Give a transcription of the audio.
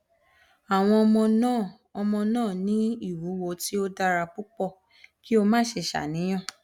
awọn ọmọ naa ọmọ naa ni iwuwo ti o dara pupọ ki o má ṣe ṣàníyàn